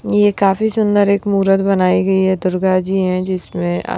ये काफी सुंदर एक मूरत बनाई गई है दुर्गा जी हैं जिसमें।